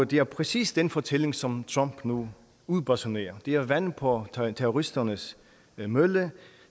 det er præcis den fortælling som trump nu udbasunerer det er vand på terroristernes mølle